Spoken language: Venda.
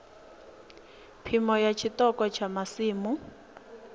phimo ya tshiṱoko tsha masimu